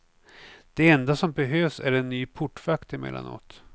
Det enda som behövs är en ny portvakt emellanåt.